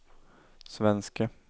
svenske